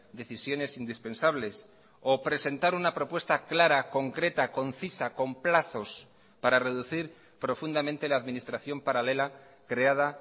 decisiones indispensables o presentar una propuesta clara concreta concisa con plazos para reducir profundamente la administración paralela creada